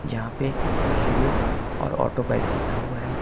यहां पे हीरो और ऑटो बाइक लिखा हुआ है।